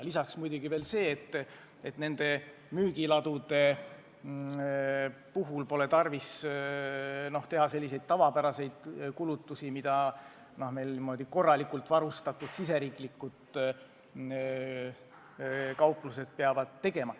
Lisaks muidugi veel see, et nende müügiladude puhul pole tarvis teha tavapäraseid kulutusi, mida korralikult varustatud kauplused peavad tegema.